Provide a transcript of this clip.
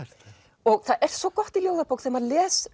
og það er svo gott í ljóðabók þegar maður les